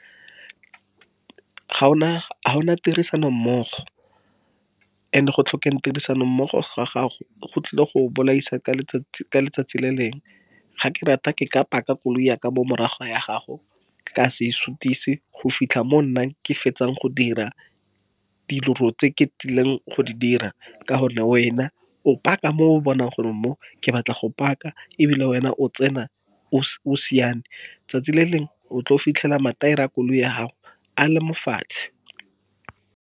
Ga ona, ga ona tirisano. And-e, go tlhokeng tirisano mmogo ga gago, go tlile go go bolaisa ka letsatsi le lengwe. Ga ke rata, ke ka phaka koloi yaka mo morago ga ya gago, nkase isutise go fitlha mo nna ke fetsang go dira dilo tse ke tlileng go di dira. Ka gonne wena o phaka mo o bonang gore mo ke batla go phaka, ebile wena o tsena o siame. Tsatsi le lengwe, o tlo fitlhela mathaere a koloi ya gago a le mo fatshe.